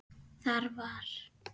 Þar var